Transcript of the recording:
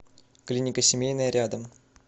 клиника семейная рядом